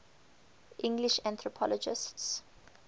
english anthropologists